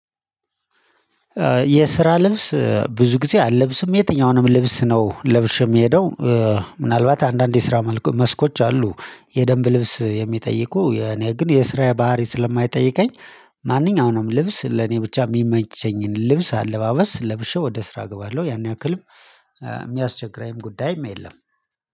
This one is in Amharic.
የስራ ልብስ ብዙ ጊዜ አልለብስም የትኛውንም ልብስ ነው ለብሼ የምሄደው። ምናልባት አንዳንድ የስራ መልኩ መስኮች አሉ የደንብ ልብስ የሚጠይቁ የኔ ግን የስራ ባህሪ ስለማይጠይቀኝ። ማንኛውንም ልብስ ለኔ ብቻ የሚመቸኝን ልብስ አለባበስ ለብሼ ወደ ስራ እገባለሁ ያን ያክልም የሚያስቸግረኝም ጉዳይም የለም።